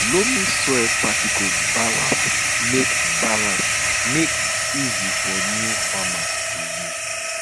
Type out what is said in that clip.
loamy soil particles balance make balance make easy for new farmers to use